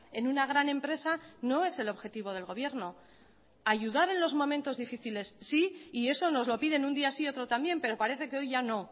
en una gran empresa no es el objetivo del gobierno ayudar en los momentos difíciles sí y eso nos lo piden un día sí y otro también pero parece que hoy ya no